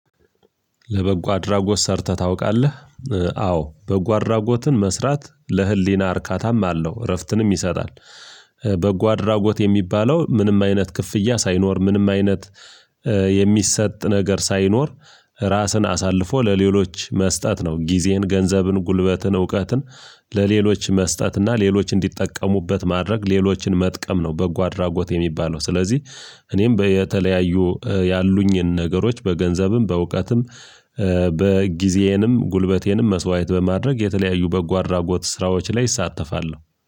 ለበጎ አድራጎት ሰርተህ ታውቃለህ? አዎ። በጎ አድራጎትን መስራት ለህሊና እርካታም አለው እረፍትንም ይሰጣል። በጎ አድራጎት የሚባለው ምንም አይነት ክፍያ ሳይኖር፥ ምንም አይነት የሚሰጥ ነገር ሳይኖር ራስን አሳልፎ ለሌሎች መስጠት ነው። ጊዜን፥ ገንዘብን ፥ጉልበትን፥ እውቀትን ለሌሎች መስጠት እና ሌሎች እንዲጠቀሙበት ማድረግ ሌሎችን መጠቀም ነው በጎ አድራጎት የሚባለው። ስለዚህ እኔም በ የተለያዩ ያሉኝን ነገሮች በገንዘብም በእውቀትም በጊዜዬንም ፥ጉልበቴንም መስዋዕት በማድረግ የተለያዩ በጎ አድራጎት ስራዎች ላይ እሳተፋለው።